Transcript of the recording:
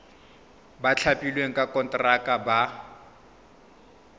ba thapilweng ka konteraka ba